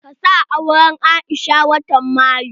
Ka sa auren Aisha watan mayu!